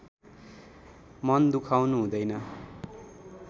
मन दुखाउनु हुँदैन